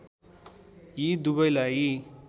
यी दुवैलाई